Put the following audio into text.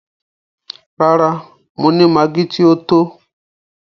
Rárá, mo ni maggi ti o tó.